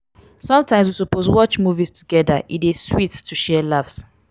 sometimes we suppose watch movies togeda; e dey sweet to share laughs.